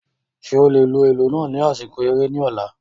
Ṣe o le lu ilu naa ni asiko ere ni ọla?